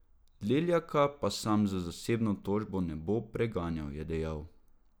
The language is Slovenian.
Leljaka pa sam z zasebno tožbo ne bo preganjal, je dejal.